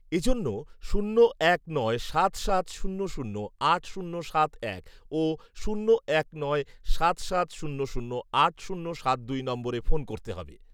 এজন্য শূন্য এক নয় সাত সাত শূন্য শূন্য আট শূন্য সাত এক ও শূন্য এক নয় সাত সাত শূন্য শূন্য আট শূন্য সাত দুই নম্বরে ফোন করতে হবে